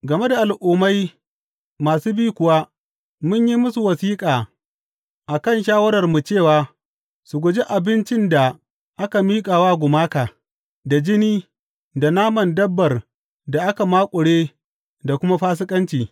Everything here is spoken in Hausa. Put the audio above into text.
Game da Al’ummai masu bi kuwa, mun yi musu wasiƙa a kan shawararmu cewa su guji abincin da aka miƙa wa gumaka, da jini, da naman dabbar da aka maƙure da kuma fasikanci.